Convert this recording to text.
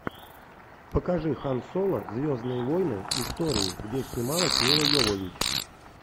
покажи хан соло звездные войны истории где снималась милла йовович